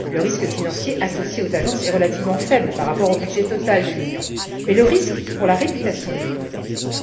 Le risque financier associé aux agences est relativement faible par rapport au budget total de l'Union, mais le risque pour la réputation de l'Union est élevé.